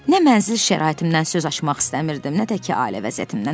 Nə mənzil şəraitimdən söz açmaq istəmirdim, nə də ki, ailə vəziyyətimdən.